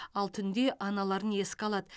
ал түнде аналарын еске алады